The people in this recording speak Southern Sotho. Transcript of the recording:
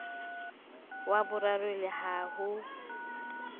wa boraro le ha ho